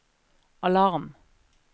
alarm